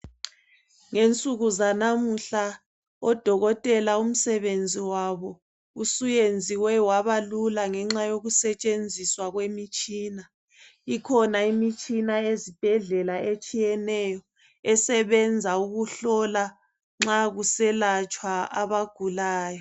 Ngensuku zanamuhla odokotela umsebenzi wabo usuyenziwe wabalula, ngenxa yokusetshenziswa kwemitshina. Ikhona imitshina ezibhedlela, etshiyeneyo. Esetshenziswa ukuhlola nxa kuselatshwa abagulayo.